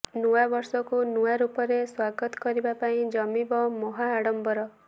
ନୂଆବର୍ଷକୁ ନୂଆରୂପରେ ସ୍ୱାଗତ କରିବା ପାଇଁ ଜମିବ ମହା ଆଡ଼ମ୍ବର